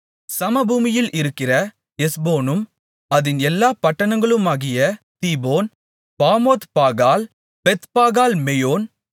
சமபூமியில் இருக்கிற எஸ்போனும் அதின் எல்லாப் பட்டணங்களுமாகிய தீபோன் பாமோத்பாகால் பெத்பாகால் மெயோன்